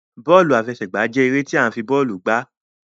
Bóòlù àfẹsẹ̀gbá jẹ eré ti a fi bóòlù gbà